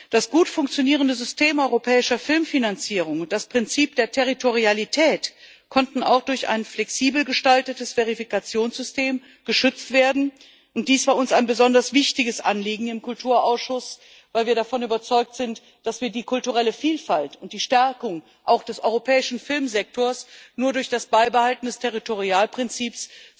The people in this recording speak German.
Das gut funktionierende System europäischer Filmfinanzierung und das Prinzip der Territorialität konnten auch durch ein flexibel gestaltetes Verifikationssystem geschützt werden, und dies war uns ein besonders wichtiges Anliegen im Kulturausschuss, weil wir davon überzeugt sind, dass wir die kulturelle Vielfalt und die Stärkung auch des europäischen Filmsektors zum jetzigen Zeitpunkt nur durch das Beibehalten des Territorialprinzips